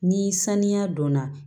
Ni sanuya donna